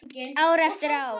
Ár eftir ár.